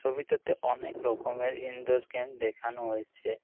ছবিটাতে অনেক রকমের ইনডোর গেম দেখানো হয়েছে।